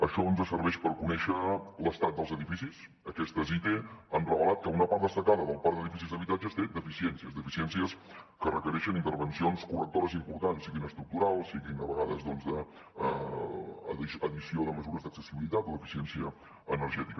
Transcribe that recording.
això ens serveix per conèixer l’estat dels edificis aquestes ite han revelat que una part destacada del parc d’edificis d’habitatges té deficiències deficiències que requereixen intervencions correctores importants siguin estructurals siguin a vegades d’addició de mesures d’accessibilitat o d’eficiència energètica